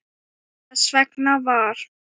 Þess vegna var